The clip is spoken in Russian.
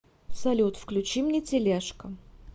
салют включи мне телешка